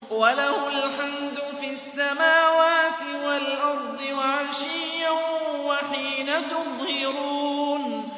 وَلَهُ الْحَمْدُ فِي السَّمَاوَاتِ وَالْأَرْضِ وَعَشِيًّا وَحِينَ تُظْهِرُونَ